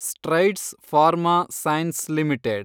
strides Pharma Science limited